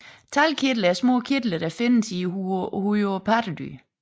Talgkirtler er små kirtler der findes i huden på pattedyr